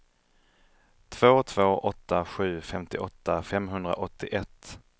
två två åtta sju femtioåtta femhundraåttioett